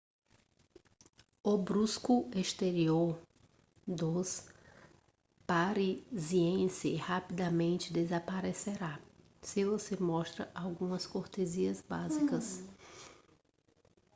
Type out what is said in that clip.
o brusco exterior dos parisiense rapidamente desaparecerá se você mostrar algumas cortesias básicas